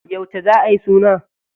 Yauce za ayi suna?